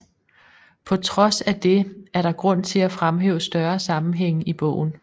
På trods af det er der grund til at fremhæve større sammenhænge i bogen